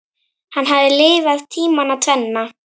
Hann hafði lifað tímana tvenna.